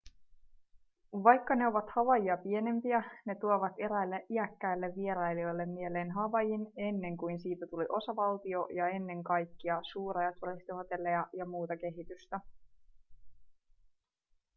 vaikka ne ovat havaijia pienempiä ne tuovat eräille iäkkäille vierailijoille mieleen havaijin ennen kuin siitä tuli osavaltio ja ennen kaikkia suuria turistihotelleja ja muuta kehitystä